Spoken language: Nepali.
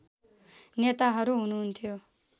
नेताहरू हुनुहुन्थ्यो